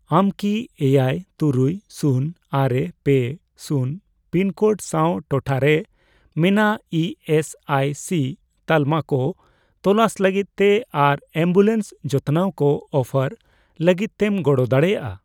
ᱟᱢ ᱠᱤ ᱮᱭᱟᱭ, ᱛᱩᱨᱩᱭ ,ᱥᱩᱱ, ᱟᱨᱮ ,ᱯᱮ, ᱥᱩᱱᱹ ᱯᱤᱱ ᱠᱳᱰ ᱥᱟᱶ ᱴᱚᱴᱷᱟᱨᱮ ᱢᱮᱱᱟᱜ ᱤ ᱮᱥ ᱟᱭ ᱥᱤ ᱛᱟᱞᱢᱟ ᱠᱚ ᱛᱚᱞᱟᱥ ᱞᱟᱹᱜᱤᱫ ᱛᱮ ᱟᱨ ᱮᱢᱵᱩᱞᱮᱱᱥ ᱡᱚᱛᱚᱱᱟᱣ ᱠᱚ ᱚᱯᱷᱟᱨ ᱞᱟᱜᱤᱫᱛᱮᱢ ᱜᱚᱲᱚ ᱫᱟᱲᱮᱭᱟᱜᱼᱟ ?